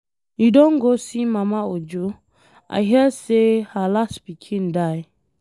You don go see mama Ojo? I hear say her last pikin die.